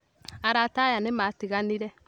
Arata aya nĩ maatiganire